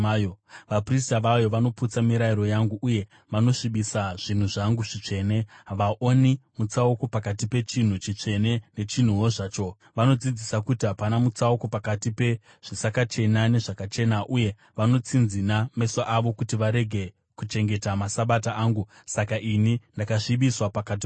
Vaprista vayo vanoputsa mirayiro yangu uye vanosvibisa zvinhu zvangu zvitsvene; havaoni mutsauko pakati pechinhu chitsvene nechinhuwo zvacho; vanodzidzisa kuti hapana mutsauko pakati pezvisakachena nezvakachena; uye vanotsinzina meso avo kuti varege kuchengeta maSabata angu, saka ini ndakasvibiswa pakati pavo.